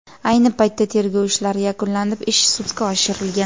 Ayni paytda tergov ishlari yakunlanib, ish sudga topshirilgan.